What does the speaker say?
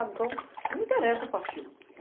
Então, não me interessa a partida.